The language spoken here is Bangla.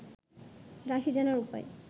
রাশি জানার উপায়